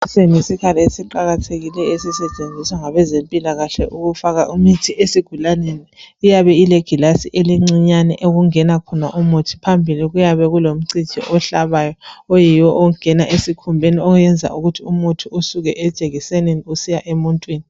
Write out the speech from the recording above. Siyisikhali esiqakathekuleyo esisetshenziswa ngabezimpilakahle ukufaka imithi esigulaneni. Iyabe ilegilasi elincinyane okungena khona umuthi, phambipi kuyabe kulomcijo ohlabayo oyiwo ongena esikhumbeni oyenza ukuthi umuthi usuke ejekisenini usiya emuntwini.